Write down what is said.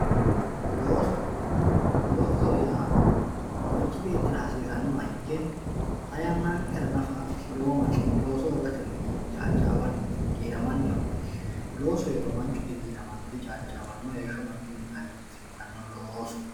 looso. loosoho yaa manchi beettira hasiisannoha ikke xa yannankera nafa lowo manni looso hoogatenni caaccaawanni giiramanni afamanno loosu heeriro manchu digiiramanno dicaaccaawano heeshsho manchunnita hagiirsiisanno loosu.